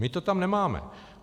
My to tam nemáme.